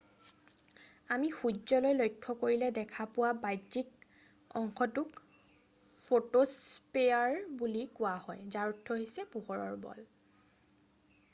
আমি সূৰ্য্যলৈ লক্ষ্য কৰিলে দেখা পোৱা বাহ্যিক অংশটোক ফ’ট’স্পে্যাৰ বুলি কোৱা হয় যাৰ অৰ্থ হৈছে পোহৰৰ বল”।